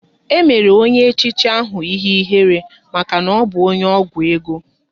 E mere onye echichi ahụ ihe ihere maka na ọbụ onye ọgwụ ego